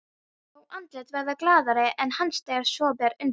Fá andlit verða glaðari en hans þegar svo ber undir.